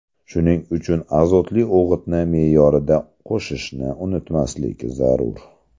Shuning uchun azotli o‘g‘itni me’yorida qo‘shishni unutmaslik zarur.